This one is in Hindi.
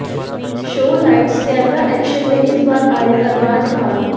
शो लाइट्स कैमरा एक्शन में इस बार आए अरबाज खान